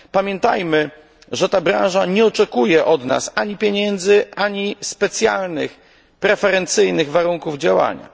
Pamiętajmy, że ta branża nie oczekuje od nas ani pieniędzy, ani specjalnych preferencyjnych warunków działania.